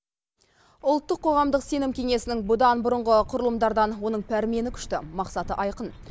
ұлттық қоғамдық сенім кеңесінің бұдан бұрыңғы құрылымдардан оның пәрмені күшті мақсаты айқын